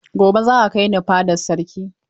Gobe, za ka kai ni fadar sarki!